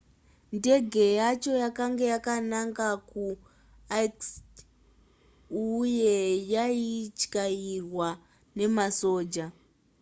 ndege yacho yakanga yakananga kuirkutsk uye yaityairwa nemasoja